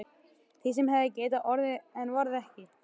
Því sem hefði getað orðið en varð ekki.